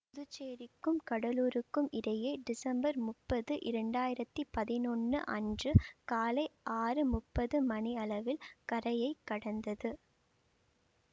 புதுச்சேரிக்கும் கடலூருக்கும் இடையே டிசம்பர் முப்பது இரண்டாயிரத்தி பதினொன்னு அன்று காலை ஆறு முப்பது மணியளவில் கரையை கடந்தது